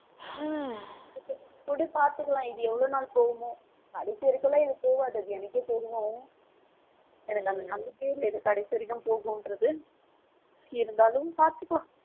உம் விடு பாத்துக்கலாம். இது எவ்வளவு நாள் போகுமோ கடைசி வரைக்கும்லாம் இது போகாது. அது எனக்கே தெரியும். எனக்கு அந்த நம்பிக்கையே இல்லை இது கடைசி வரைக்கும் போகும்ன்றது இருந்தாலும் பார்த்துக்கலாம்